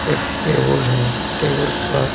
एक टेबल है टेबल पर--